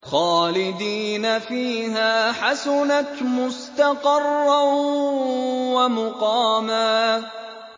خَالِدِينَ فِيهَا ۚ حَسُنَتْ مُسْتَقَرًّا وَمُقَامًا